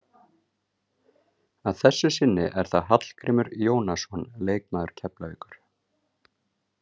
Að þessu sinni er það Hallgrímur Jónasson leikmaður Keflavíkur.